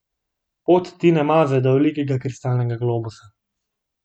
Pot Tine Maze do velikega kristalnega globusa.